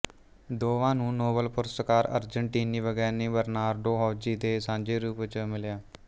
ਦੋਵਾਂ ਨੂੰ ਨੋਬਲ ਪੁਰਸਕਾਰ ਅਰਜਨਟੀਨੀ ਵਿਗਿਆਨੀ ਬਰਨਾਰਡੋ ਹੌਜ਼ੀ ਦੇ ਨਾਲ ਸਾਂਝੇ ਰੂਪ ਚ ਮਿਲਿਆ